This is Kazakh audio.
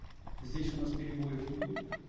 здесь у нас перебоев не будет